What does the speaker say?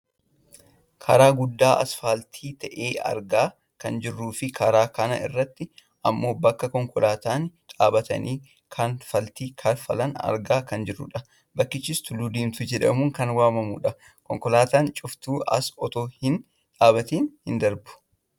Karaa guddaa asfaaltii ta'e argaa kan jirruufi karaa kana irratti ammoo bakka konkolaattonni dhaabbatanii kanfaltii kanfalan argaa kan jirrudha. Bakkichis Tulluu Diimtuu jedhamuun kan waammamudha. Konkolaataan cuftuu as otoo hin dhaabbatiin hin darbu.